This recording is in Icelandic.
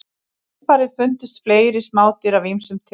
Í kjölfarið fundust fleiri smádýr af ýmsum tegundum.